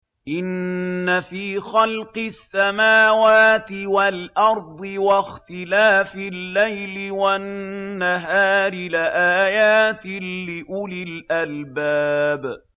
إِنَّ فِي خَلْقِ السَّمَاوَاتِ وَالْأَرْضِ وَاخْتِلَافِ اللَّيْلِ وَالنَّهَارِ لَآيَاتٍ لِّأُولِي الْأَلْبَابِ